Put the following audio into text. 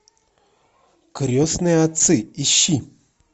крестные отцы ищи